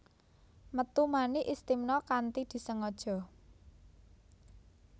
Metu mani Istimna kanthi disengaja